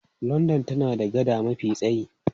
London tana da gada mafi tsayi.